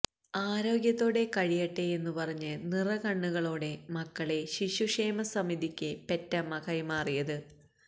ആരോഗ്യത്തോടെ കഴിയട്ടെയെന്നു പറഞ്ഞ് നിറകണ്ണുകളോടെ മക്കളെ ശിശുക്ഷേമ സമിതിയ്ക്ക് പെറ്റമ്മ കൈമാറിയത്